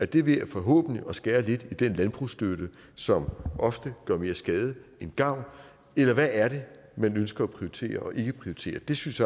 det vil forhåbentlig være ved at skære lidt i den landbrugsstøtte som ofte gør mere skade end gavn eller hvad er det man ønsker at prioritere og ikke prioritere det synes